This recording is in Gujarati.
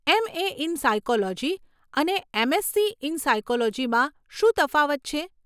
એમ. એ. ઇન સાયકોલોજી અને એમ.એસસી. ઇન સાયકોલોજીમાં શું તફાવત છે?